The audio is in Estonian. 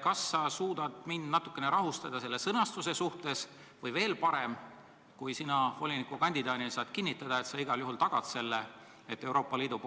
Kas sa suudad mind selle sõnastuse suhtes natukene rahustada või veel parem: kas sina volinikukandidaadina saad kinnitada, et sa igal juhul tagad selle, et Euroopa Liidu